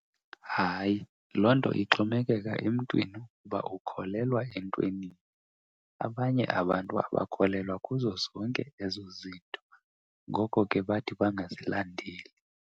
Hayi, loo nto ixhomekeka emntwini uba ukholelwa entwenini. Abanye abantu abakholelwa kuzo zonke ezo zinto, ngoko ke bathi bangazilandeli.